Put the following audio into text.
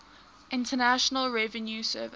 internal revenue service